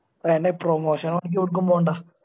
അയ്യെന്നെ promotion ന് ഓന്ക് എടക്കും പോണ്ട.